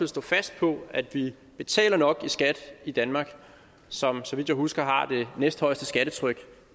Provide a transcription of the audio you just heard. stå fast på at vi betaler nok i skat i danmark som har så vidt jeg husker det næsthøjeste skattetryk